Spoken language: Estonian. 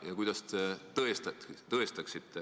Ja kuidas te tõestaksite, et see kurss ei muutu?